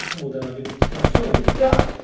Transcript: O que é que muda na sua vida?